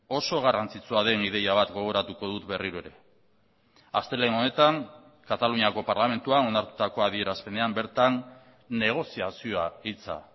oso garrantzitsua den ideia bat gogoratuko dut berriro ere astelehen honetan kataluniako parlamentuan onartutako adierazpenean bertan negoziazioa hitza